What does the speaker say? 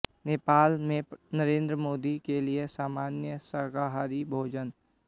नेपाल में नरेंद्र मोदी के लिए सामान्य शाकाहारी भोजन